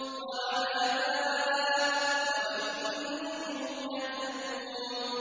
وَعَلَامَاتٍ ۚ وَبِالنَّجْمِ هُمْ يَهْتَدُونَ